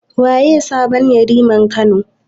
Waye sabon Yariman Kano?